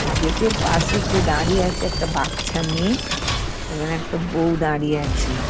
Gate -এর পাশেতে দাঁড়িয়ে আছে একটা বাচ্চা মেয়ে এবং একটা বউ দাঁড়িয়ে আছে।